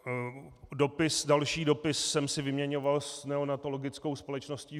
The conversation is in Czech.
Další dopis jsem si vyměňoval s neonatologickou společností.